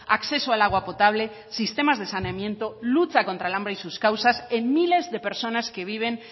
acceso al agua potable sistemas de saneamiento lucha contra el hambre y sus causas en miles de personas que viven